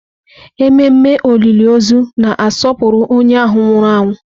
Ememe olili ozu na-asọpụrụ onye ahụ nwụrụ anwụ.